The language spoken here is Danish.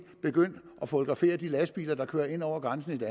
begyndte at fotografere de lastbiler der kører ind over grænsen til